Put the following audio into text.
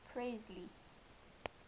presley